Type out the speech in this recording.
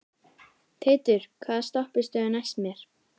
Teitur, hvaða stoppistöð er næst mér?